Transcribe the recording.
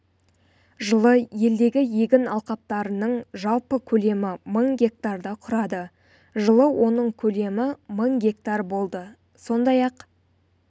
жылы елдегі егін алқаптарының жалпы көлемі мың гектарды құрады жылы оның көлемі мың гектар болды сондай-ақ